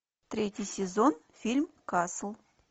третий сезон фильм касл